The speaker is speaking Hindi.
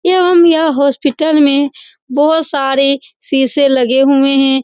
या हम यहाँ हॉस्पिटल में बहोत सारी सीशे लगे हुएं है।